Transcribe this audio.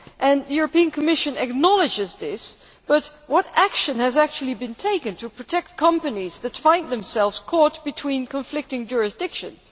The Commission acknowledges this, but what action has actually been taken to protect companies that find themselves caught between conflicting jurisdictions?